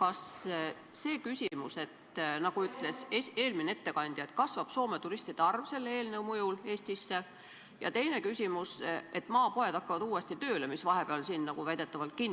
Eelmine ettekandja ütles, et loodetavasti kasvab seadusmuudatuse mõjul Soome turistide arv Eestis ja tööle hakkavad uuesti maapoed, mis vahepeal väidetavalt